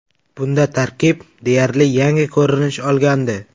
Bunda tarkib deyarli yangi ko‘rinish olgandi.